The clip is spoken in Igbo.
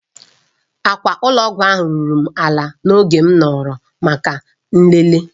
Akwa ụlọ ọgwụ ahụ ruru m ala n'oge m nọrọ maka nlele.